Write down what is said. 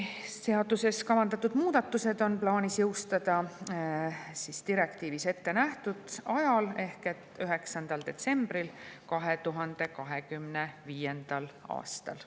Seaduses kavandatud muudatused on plaanis jõustada direktiivis ette nähtud ajal ehk 9. detsembril 2025. aastal.